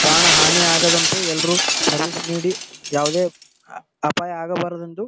ಪ್ರಾಣ ಹಾನೀ ಆಗದಂತೆ ಎಲ್ಲರು ಸರ್ವಿಸ್ ನೀಡಿ ಯಾವದೇ ಅಪಾಯ ಆಗಬಾರದೆಂದು --